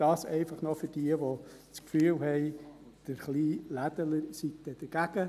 » Dies einfach nur für jene, die das Gefühl haben, der kleine Ladenbesitzer sei dann dagegen.